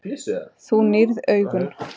Þú nýrð augun.